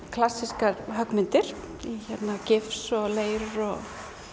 klassískar höggmyndir í gifs og leir og